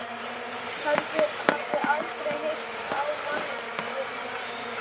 Hafði aldrei heyrt á manneskjuna minnst.